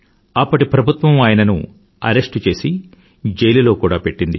అప్పటి ప్రభుత్వం ఆయనను అరెస్టు చేసి జైలులో కూడా పెట్టారు